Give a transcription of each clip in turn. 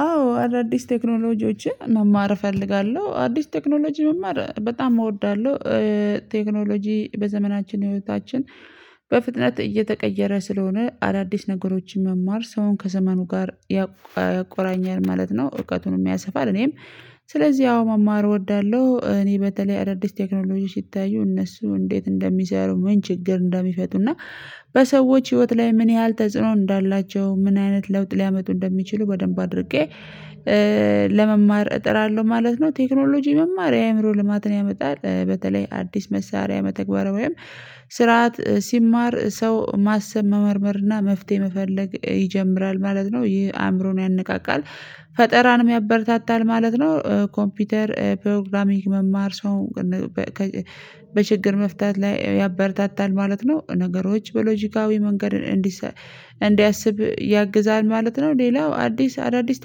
አዎ አዳዲስ ቴክኖሎጂዎችን መማር እፈልጋለሁ አዲስ ቴክኖሎጂ መማር በጣም እወዳለሁ። ቴክኖሎጂ በዘመናችን ህይወታችን በፍጥነት እየተቀየረ ስለሆነ አዳዲስ ነገሮችን መማር ሰውን ከዘመኑ ጋር ያቆራኛል ማለት ነው። እውቀቱን ያሰፋል እኔም። ስለዚህ ያው መማር እወዳለሁ። እኔ በተለይ አዳዲስ ቴክኖሎጂ ሲታዩ እነሱ እንዴት እንደሚሰሩ ምን ችግር እንዳሚፈቱና በሰዎች ህይወት ላይ ምን ያህል ተጽዕኖ እንዳላቸው ምን አይነት ለውጥ ሊያመጡ እንደሚችሉ በደንብ አድርጌ ለመማር እጥራለሁ ማለት ነው። ቴክኖሎጂ መማር የአእምሮ ልማትን ያመጣል። በተለይ አዲስ መሳሪያ መተግበሪያ ወይም ስርዓት ሲማር ሰው ማሰብ መመርመር እና መፍትሄ መፈለግ ይጀምራል ማለት ነው። ይሄ አእምሮን ያነቃቃል ፈጠራንም ያበረታታል ማለት ነው። ኮምፒውተር ፕሮግራሚንግ መማር ሰው በችግር መፍታት ላይ ያበረታታል ማለት ነው። ነገሮች በሎጂካዊ መንገድን እንዲሰብ እንዲያስብ ያግዛል ማለት ነው። ሌላው አዲስ አዳዲስ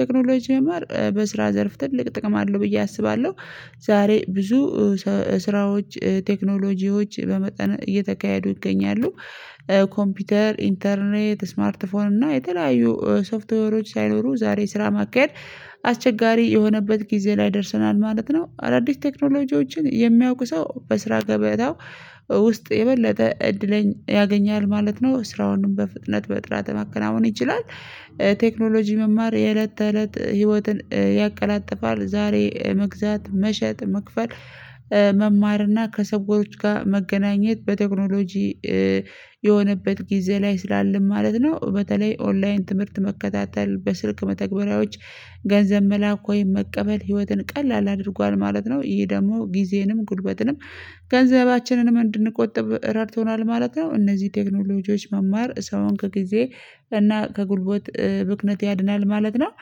ቴክኖሎጂ መማር በስራ ዘርፍ ትልቅ ጥቅም አለው ብዬ አስባለሁ። ዛሬ ብዙ ስራዎች ቴክኖሎጂዎች በመጠን እየተካሄዱ ይገኛሉ። ኮምፒውተር ኢንተርኔት ስማርት ፎን እና የተለያዩ ሶፍትዌሮች ሳይኖሩ ዛሬ ስራ ማካሄድ አስቸጋሪ የሆነበት ጊዜ ላይ ደርሰናል ማለት ነው። አዳዲስ ቴክኖሎጂዎችን የሚያውቁ ሰው በስራ ገበታው ውስጥ የበለጠ እድልን ያገኛል ማለት ነው። ስራውንም በፍጥነት በጥራተ መከናወን ይችላል። ቴክኖሎጂ የእለት ተእለት ህይወትን ያቀላጥፋል። ዛሬ መግዛት መሸጥ መክፈል መማር እና ከሰዎች ጋር መገናኘት በቴክኖሎጂ የሆነበት ጊዜ ላይ ስላለም ማለት ነው። በተለይ ኦንላይን ትምህርት መከታተል በስልክ መተግበሪያዎች ገንዘብ መላክ ወይም መቀበል ህይወትን ቀላል አድርጓል ማለት ነው። ይሄ ደግሞ ጊዜንም ጉልበትንም ገንዘባችንንም እንድንቆጥብ ረድቶናል ማለት ነው። እነዚህ ቴክኖሎጂዎች መማር ሰውን ከጊዜ እና ከጉልቦት ብክነት ያድናል ማለት ነው።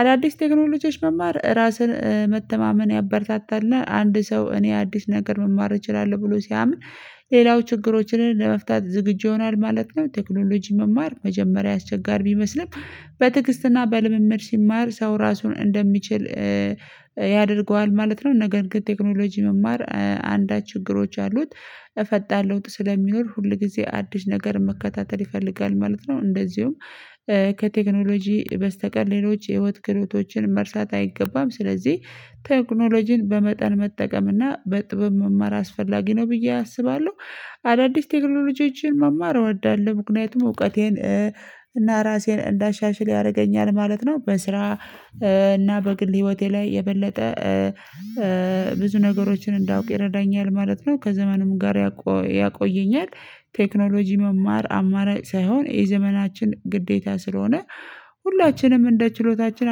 አዳዲስ ቴክኖሎጂዎች መማር ራስን መተማመን ያበረታታልና አንድ ሰው እኔ አዲስ ነገር መማር እችላለሁ ብሎ ሲያምን ሌላው ችግሮችን ለመፍታት ዝግጁ ይሆናል ማለት ነው። ቴክኖሎጂ መማር መጀመሪያ አስቸጋሪ ቢመስልም በትግስትና በልምምድ ሲማር ሰው ራሱን እንደሚችል ያደርገዋል ማለት ነው። ነገር ግን ቴክኖሎጂ መማር አንዳች ችግሮች አሉት። ፈጣን ለውጥ ስለሚኖር ሁል ጊዜ አዲስ ነገር መከታተል ይፈልጋል ማለት ነው። እንደዚሁም ከቴክኖሎጂ በስተቀር ሌሎች የህይወት ክህሎቶችን መርሳት አይገባም። ስለዚህ ቴክኖሎጂን በመጠን መጠቀም እና በጥብብ መማር አስፈላጊ ነው። ብዬ አስባለሁ። አዳዲስ ቴክኖሎጂዎችን መማር እወዳለሁ ምክንያቱም እውቀቴን እና ራሴን እንዳሻሽል ያደርገኛል ማለት ነው። በስራ እና በግል ህይወቴ ላይ የበለጠ ብዙ ነገሮችን እንዳውቅ ይረዳኛል ማለት ነው። ከዘመኑም ጋር ያቆየኛል። ቴክኖሎጂ መማር አማራጭ ሳይሆን የዘመናችን ግዴታ ስለሆነ። ሁላችንም እንደ ችሎታችን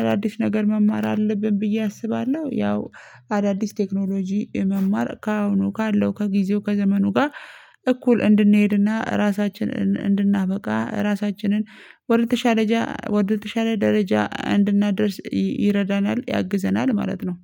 አዳዲስ ነገር መማር አለብን ብዬ አስባለሁ። ያው አዳዲስ ቴክኖሎጂ መማር ከአሁኑ ካለው ከጊዜው ከዘመኑ ጋር እኩል እንድንሄድና ራሳችንን እንድናበቃ ራሳችንን ወደተሻለ ወደተሻለ ደረጃ እንድናደርስ ይረዳናል ያግዘናል ማለት ነው።